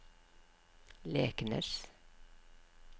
Leknes